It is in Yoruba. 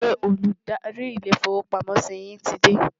ṣé Olùdarí ilé ifowo pàmò sí yín tí dé?